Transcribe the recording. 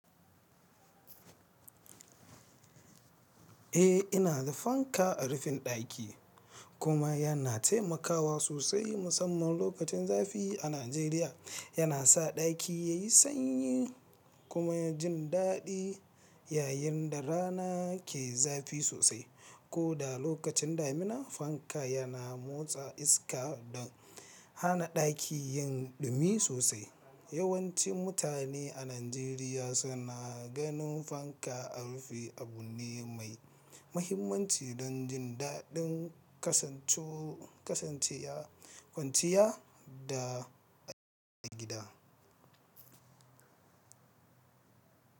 Eh, ina da fanka a rufin daki kuma yana taimakawa sosai musamman lokacin zafi a Najeriya. Yana sa daki ya yi sanyi kuma ya jin daɗi yayin da rana ke zafi sosai. Ko da lokacin damina fanka yana motsa iska da hana daki yin dumi sosai. Yawanci mutane a Najeriya suna ganin fanka a rufi abu ne mai mahimmanci don jin daɗin kasancewa kwanciya da a gida.